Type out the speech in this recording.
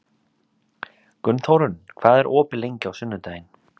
Gunnþórunn, hvað er opið lengi á sunnudaginn?